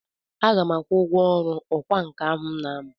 Aga m akwụ ụgwọ ọrụ ọkwá nkà m na-amụ.